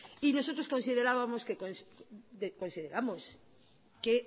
y nosotros consideramos que